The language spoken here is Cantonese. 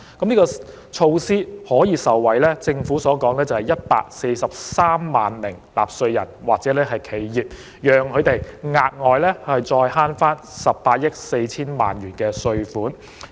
政府指出，這項措施的受惠者為143萬納稅人或企業，他們可因而額外省卻18億 4,000 萬元的稅款。